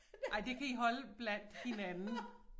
Ej det kan I holde blandt hinanden